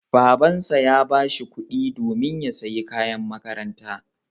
Babansa ya ba shi kuɗi domin ya sayi kayan makaranta.